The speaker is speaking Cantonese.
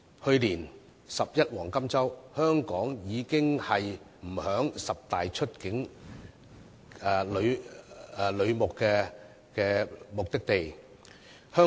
去年"十一黃金周"，香港已不在十大出境旅遊目的地之列。